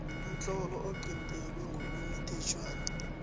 umtlolo oqintelwe ngokwemithetjhwana